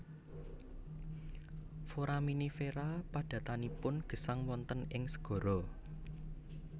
Foraminifera padatanipun gesang wonten ing segara